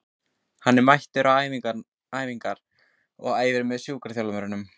Hann er mættur á æfingar og æfir með sjúkraþjálfurunum.